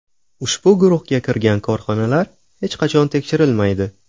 Ushbu guruhga kirgan korxonalar hech qachon tekshirilmaydi.